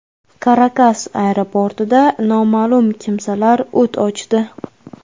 Karakas aeroportida noma’lum kimsalar o‘t ochdi.